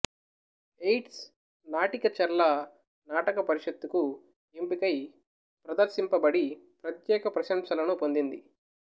AIDS నాటిక చర్ల నాటక పరిషత్తుకు ఎంపికై ప్రదర్శింపబడి ప్రత్యేక ప్రశంసలను పొందింది